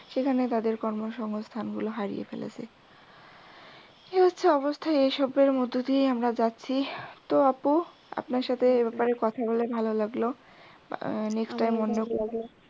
সেখানে তাদের কর্মসংস্থানগুলো হারিয়ে ফেলেছে। এই হচ্ছে অবস্থা এই সবের মধ্যে দিয়েই আমরা যাচ্ছি। তো আপ্নু আপনার সাথে এ ব্যাপারে কথা বলে ভালো লাগলো next time অন্য